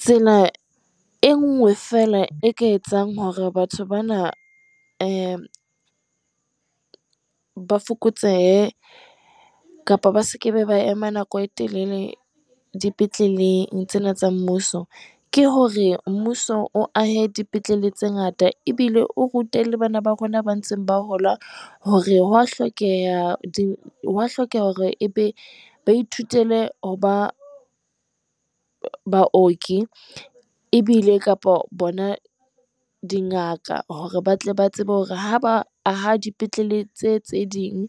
Tsela e nngwe feela, e ka etsang hore batho bana ba fokotsehe, kapa ba se ke be ba ema nako e telele dipetleleng tsena tsa Mmuso. ke hore Mmuso o ahe dipetlele tse ngata. Ebile o rute le bana ba rona ba ntseng ba hola hore ho a hlokeha, ho a hlokeha hore ebe, ba ithutele ho Baoki ebile kapa bona Dingaka, hore ba tle ba tsebe hore ha ba aha dipetlele tseo tse ding.